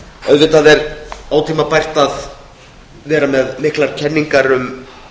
auðvitað er ótímabært að vera með miklar kenningar um